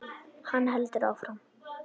Hann heldur áfram.